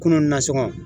Kunun na sogo